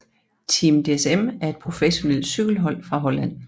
Team DSM er et professionelt cykelhold fra Holland